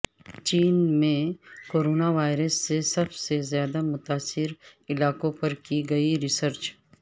چین میں کوروناوائرس سے سب سے زیادہ متاثرر علاقوں پر کی گئی ریسرچ